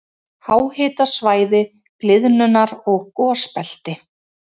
Háhitasvæði- gliðnunar- og gosbelti